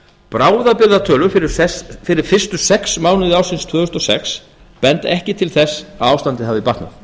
bráðabirgðatölur fyrir fyrstu sex mánuði ársins tvö þúsund og sex benda ekki til þess að ástandið hafi batnað